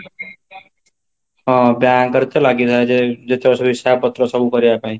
ହଁ, bank ରେ ଲାଗିଥାଏ ଯେତକ ସବୁ ହିସାବ ପତ୍ର କରିବା ପାଇଁ